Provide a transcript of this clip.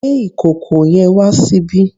Gbé ìkòkò yẹn wá ṣíbí!